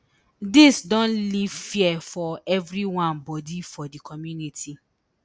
dis don leave fear for evri one bodi for di community